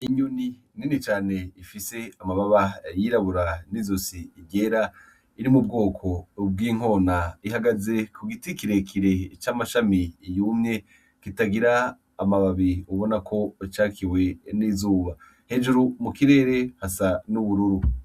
Inyuni nenecane ifise amababa yirabura n'izosi irera iri mu bwoko ubw'inkona ihagaze ku giti kirekire c'amashami iyumye kitagira amababi ubona ko ucakiwe n'izuba hejuru mu kirere hasa n'ubururu.